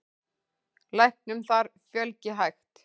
Læknum þar fjölgi hægt.